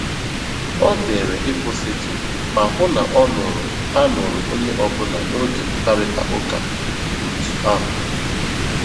Ọ zèrè ị̀kwụ́sị̀tụ́ mà hụ́ na a nụ̀rù a nụ̀rù ònyè ọ́bụ́là n'ógè mkpáịrịtà ụ́ka otù ahụ́.